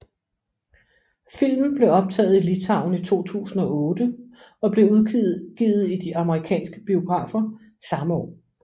Filmen blev optaget i Litauen i 2008 og blev udgivet i de amerikanske biografer samme år